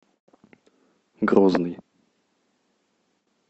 грозный